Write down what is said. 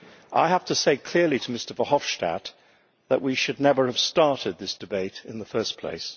I have to say clearly to Mr Verhofstadt that we should never have started this debate in the first place.